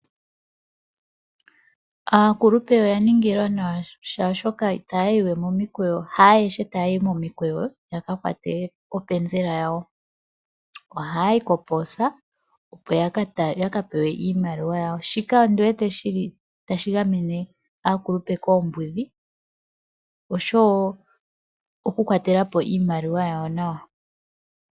Aakulupe oya ningilwa nawa molwashoka haayehe taya yi we momikweyo ya ka kwate openzela yawo. Ohaya yi kopoosa, opo ya ka pewe iimaliwa yawo. Shika otashi gamene aakulupe koombudhi osho wo okukwatela po iimaliwa yawo nawa.